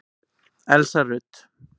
Elsa Rut.